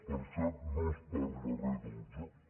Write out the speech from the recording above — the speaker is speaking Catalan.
per cert no s’hi diu res del joc